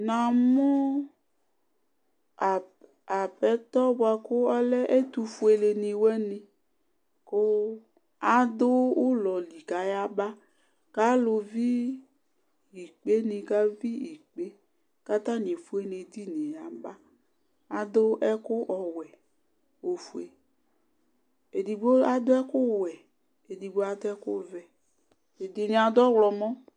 namʊ udunuɔla dɩnɩ alɛ ɛtʊfue nɩ, kʊ adʊ ulɔ li kayaba, kʊ ikpeninɩ kavi ikpe, kʊ atanɩ efue nʊ edini yɛ, adʊ ɛkʊ ɔwɛ, ofue, edigbo adʊ ɛkuwɛ, edigbo adʊ ɛkuvɛ edɩnɩ adʊ ɛkʊ ɔwlɔmɔ